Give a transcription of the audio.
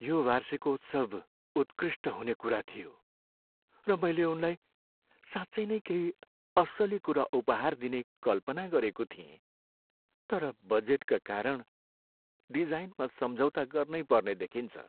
यो वार्षिकोत्सव उत्कृष्ट हुने कुरा थियो, र मैले उनलाई साँच्चै नै केही अस्सली कुरा उपहार दिने कल्पना गरेको थिएँ। तर बजेटका कारण डिजाइनमा सम्झौता गर्नै पर्ने देखिन्छ।